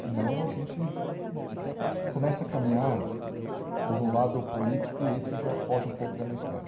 Senão, a gente começa a caminhar por um lado político e isso já foge um pouco da minha história.